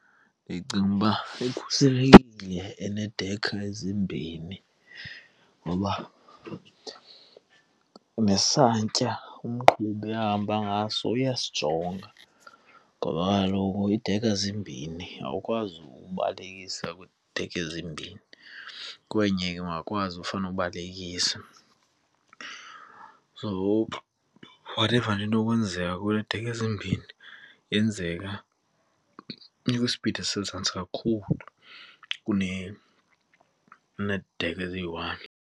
Ndicinga uba ikhuselekile eneedekha ezimbhini ngoba nesantya umqhubi ahamba ngaso uyasijonga ngoba kaloku iidekha zimbini, awukwazi ubalekisa kwiidekha ezimbini kwenye ke ungakwazi ufuna ubalekisa. So whatever enokwenzeka kuwe needekha ezimbini, yenzeka ikwisipidi ezisezantsi kakhulu keneedekha eziyi-one.